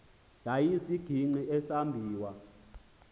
yaye isisigingqi esambiwa